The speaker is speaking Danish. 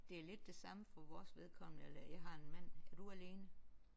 Det er lidt det samme for vores vedkommende eller jeg har en mand. Er du alene?